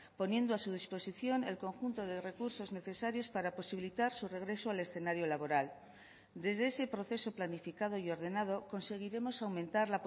poniendo a su disposición el conjunto de recursos necesarios para posibilitar su regreso al escenario laboral desde ese proceso planificado y ordenado conseguiremos aumentar